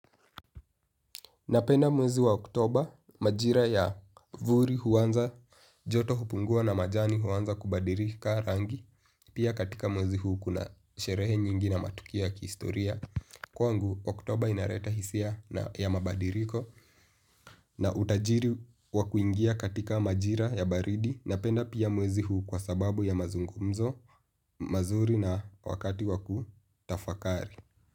Napenda mwezi wa oktoba majira ya vuli huanza joto hupungua na majani huanza kubadilika rangi. Pia katika mwezi huu kuna sherehe nyingi na matukio ya kihistoria. Kwangu oktoba inaleta hisia ya mabadiliko na utajiri wa kuingia katika majira ya baridi. Napenda pia mwezi huu kwa sababu ya mazungumzo mazuri na wakati wa kutafakari.